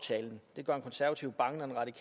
det